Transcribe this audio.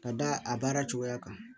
Ka da a baara cogoya kan